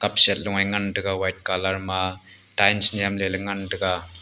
set lo ngan taga white colour ma tiles nyemle lah ngan taga.